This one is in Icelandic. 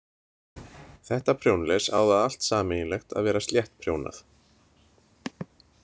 Þetta prjónles á það allt sameiginlegt að vera sléttprjónað.